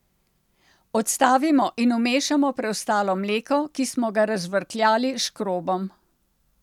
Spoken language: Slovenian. Odstavimo in vmešamo preostalo mleko, ki smo ga razžvrkljali s škrobom.